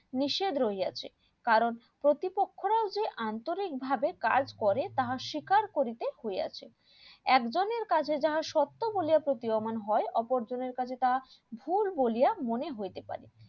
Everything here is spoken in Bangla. নিষেধ রইয়াছে কারণ প্রতিপক্ষরাও যে আন্তরিক ভাবে কাজ করে তাহা শিকার করিতে হইয়াছে একজনের কাছে যাহা সত্য বলিয়া প্রতীয়মান হয় অপরজনের কাছে তাহা ভুল বলিয়া মনে হইতে পারে